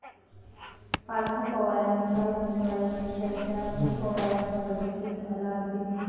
पार्थ पवारांच्या उमेदवारीची चर्चा, अखेर पवारांच्या बैठकीत झाला अंतिम निर्णय